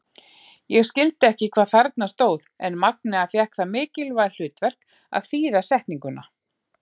Ég skildi ekki hvað þarna stóð en Magnea fékk það mikilvæga hlutverk að þýða setninguna.